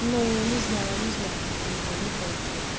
ну не знаю не знаю его я не пробовала